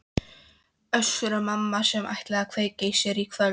Össur-Mamma sem ætlaði að kveikja í sér í kvöld?